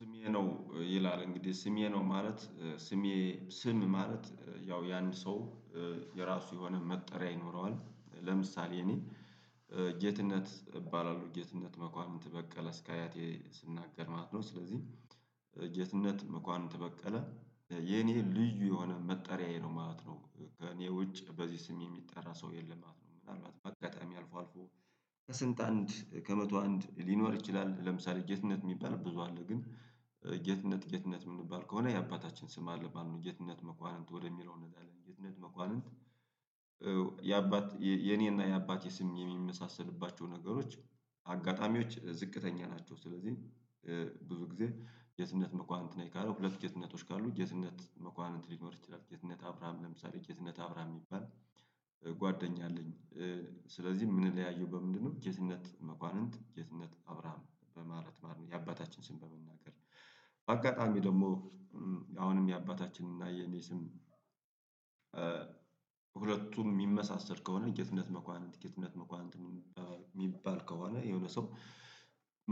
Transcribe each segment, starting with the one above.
ስሜ ነው ይላል እንግዲህ ስሜ ነው ማለት ስሜ ስም ማለት ያው ያንድ ሰው የራሱ የሆነ መጠሪያ ይኖረዋል ለምሳሌ እኔ ጌትነት እባላለሁ ጌትነት መኳንንት በቀለ እስከ አያቴ ስናገር ማለት ነው። ስለዚህ ጌትነት መኳንንት በቀለ የኔ ልዩ የሆነ መጠሪያዬ ነው ማለት ነው። ከእኔ ውጭ በዚህ ስሜ የሚጠራ ሰው የለም ማለት ነው ምናልባት በአጋጣሚ አልፎ አልፎ ከስንት አንድ ከመቶ አንድ ሊኖር ይችላል። ለምሳሌ ጌትነት የሚባል ብዙ አለ ግን ጌትነት ጌትነት የምንባል ከሆነ የአባታችን ስም አለ ማለት ነው። ጌትነት መኳንንት ወደሚለው እንሄዳለን ጌትነት መኳንንት የአባት የኔና የአባቴ ስም የሚመሳሰልባቸው ነገሮች አጋጣሚዎች ዝቅተኛ ናቸው። ስለዚህ ብዙ ጊዜ ጌትነት መኳንንት ነኝ ካለ ሁለት ጌትነቶች ካሉ ጌትነት መኳንንት ሊኖር ይችላል። ጌትነት አብራሃም ለምሳሌ ጌትነት አብራሃም የሚባል ጓደኛ አለኝ። ስለዚህ ምንለያየው በምንድነው ጌትነት መኳንንት ጌትነት አብራም በማለት ማለት ነው። የአባታችን ስም በመናገር አጋጣሚ ደግሞ አሁንም የአባታችን እና የኔ ስም ሁለቱን የሚመሳሰል ከሆነ ጌትነት መኳንንት ጌትነት መኳንንት የሚባል ከሆነ የሆነ ሰው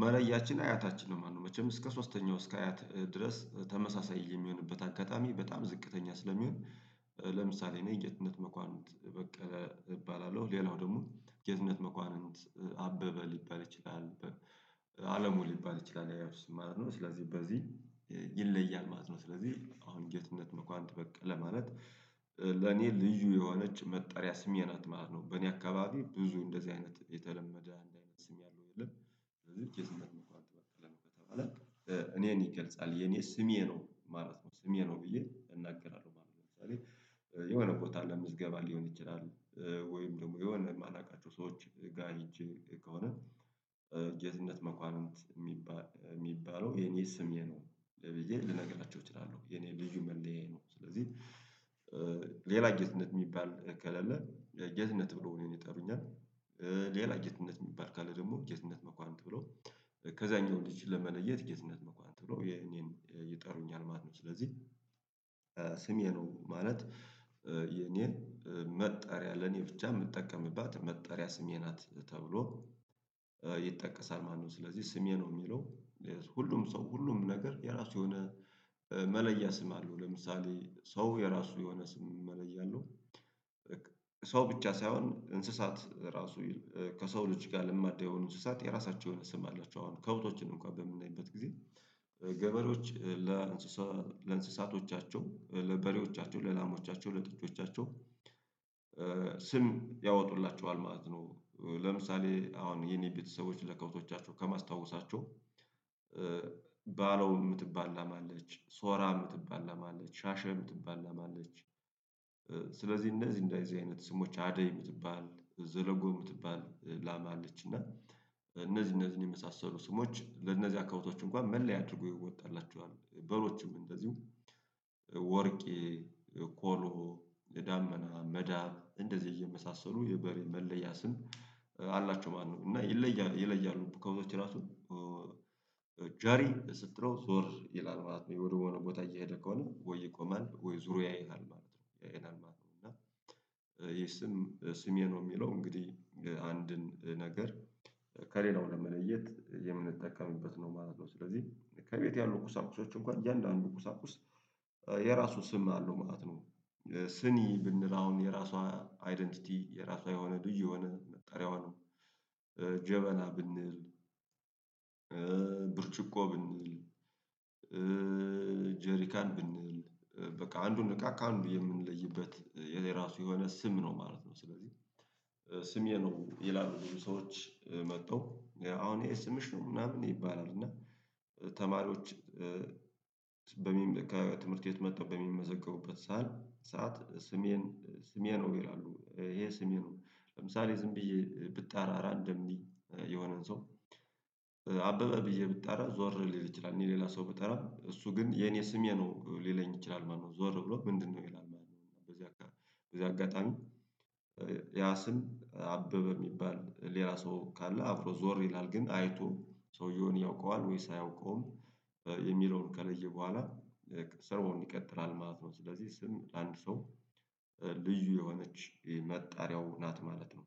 መለያችን አያታችን ነው ማለት ነው። መቼም እስከ ሶስተኛው እስከ አያት ድረስ ተመሳሳይ የሚሆንበት አጋጣሚ በጣም ዝቅተኛ ስለሚሆን ለምሳሌ እኔ ጌትነት መኳንንት በቀለ እባላለሁ ሌላው ደግሞ ጌትነት መኳንንት አበበ ሊባል ይችላል። አለሙ ሊባል ይችላል የአያቱ ስም ማለት ነው ስለዚህ በዚህ ይለያል ማለት ነው። ስለዚህ አሁን ጌትነት መኳንት በቀለ ማለት ለኔ ልዩ የሆነች መጠሪያ ስሜ ናት ማለት ነው። በእኔ አካባቢ ብዙ እንደዚህ አይነት የተለመደ አይነት ስም ያለው የለም ስለዚ ጌትነት መኳንንት በቀለ ነው ከተባለ እኔን ይገልጻል የኔ ስሜ ነው ማለት ነው። ስሜ ነው ብዬ እናገራለሁ ማለት ነው። ለምሳሌ የሆነ ቦታ ለምዝገባ ሊሆን ይችላል ወይም ደግሞ የሆነ የማላውቃቸው ሰዎች ጋር ሄጄ ከሆነ ጌትነት መኳንንት የሚባል የሚባለው የኔ ስምዬ ነው ለብዬ ልነግራችሁ እችላለሁ የኔ ልጁ መለያዬ ነው። ስለዚህ ሌላ እየትነት የሚባል እከለለ እጅነት ብሎ እኔን ይጠሩኛል ሌላ እጅነት የሚባል ካለ ደግሞ እጅነት መኳንንት ብሎ ከዛኛው ልጅ ለመለየት ጌትነት መኳንት ብሎ የኔን ይጠሩኛል ማለት ነው። ስለዚህ ስሜ ነው ማለት የኔን መጠሪያ ለኔ ብቻ የምጠቀምባት መጠሪያ ስሜ ናት ተብሎ ይጠቀሳል ማለት ነው። ስለዚህ ስሜ ነው የሚለው ሁሉም ሰው ሁሉም ነገር የራሱ የሆነ መለያ ስም አለው ለምሳሌ ሰው የራሱ የሆነ ስም መለያ አለው። ሰው ብቻ ሳይሆን እንስሳት ራሱ ከሰው ልጅ ጋር ልማድ የሆኑ እንስሳት የራሳቸውን ስም አላቸው። አሁን ከቦታዎችን እንኳን በምናይበት ጊዜ ገበሬዎች ለእንስሳቶቻቸው ለበሬዎቻቸው ለላማዎቻቸው ለጥጮቻቸው ስም ያወጡላቸው አልማዝ ነው። ለምሳሌ አሁን የኔ ቤተሰቦች ለከብቶቻቸው ከማስታወሳቸው ባለው የምትባላ ማለች ሶራ የምትባላ ማለች ሻሸ የምትባላ ማለች ስለዚህ እነዚህ እንደዚህ አይነት ስሞች አደይ የምትባል ዘረጎ የምትባል ላማ አለች። እና እነዚህ እነዚህን የመሳሰሉ ስሞች ለእነዚህ አካባቢዎች እንኳን መለያ አድርጎ ይወጣላቸዋል በሮቹም እንደዚሁ ወርቅ ኮሎ ዳመና መዳብ እንደዚህ እየመሳሰሉ የበሬ መለያ አላቸው ማን ነው እና ይለያሉ ከሁለተኛ ራሱ ጃሪ ስትለው ዞር ይላል ማለት ነው። ወደሆነ ቦታ እየሄደ ከሆነ ወይ ይቆማል ወይ ዙሮ ያይሃል ማለት ነው ያይሃል ማለት ነው። እና ይሄ ስም ስሜ ነው የሚለው እንግዲህ አንድን ነገር ከሌላው ለመለየት የምንጠቀምበት ነው ማለት ነው ስለዚህ ከቤት ያሉ ቁሳቁሶች እንኳን እያንዳንዱ ቁሳቁስ የራሱ ስም አለው ማለት ነው። ስኒ ብንል አሁን የራሷ አይደንቲቲ የራሷ የሆነ ዱይ የሆነ ነጠሪያው ነው ጀበላ ብንል ብርጭቆ ብንል ጀሪካን ብንል በቃ አንዱን ንቃቅ አንዱ የምንለይበት የዜራ ራሱ የሆነ ስም ነው ማለት ነው። ስለዚህ ስም የነው ይላሉ ሰዎች መጥተው አሁን የስምሽ ነው ምናምን ይባላል እና ተማሪዎች ከትምህርት የት መጣው በሚመዘገቡበት ሳል ሰዓት ስሜን ስሜ ነው ይላሉ ይሄ ስሜ ነው። ለምሳሌ ዝም ብዬ ብጣራራ እንደሚል የሆነን ሰው አበበ ብዬ ብጣራ ዞር ሊል ይችላል እኔ ሌላ ሰው ብጠራ እሱ ግን የኔ ስሜ ነው ሊለኝ ይችላል ማነው ዞር ብሎ ምንድነው? ይላል በዚህ በዚህ አጋጣሚ ያ ስም አበበ የሚባል ሌላ ሰው ካለ አብሮ ዞር ይላል ግን አይቶም ሰውየውን ያውቀዋል ወይስ አያውቀውም የሚለውን ቀለዬ በኋላ ሰርቦን ይቀጥራል ማለት ነው። ስለዚህ ስም አንድ ሰው ልዩ የሆነች መጣሪያው ናት ማለት ነው